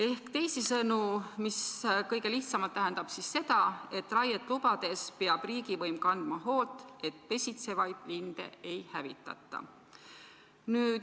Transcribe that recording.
Kõige lihtsamalt öeldes tähendab see seda, et raiet lubades peab riigivõim kandma hoolt, et pesitsevaid linde ei hävitata.